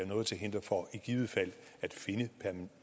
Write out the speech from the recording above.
noget til hinder for i givet fald at finde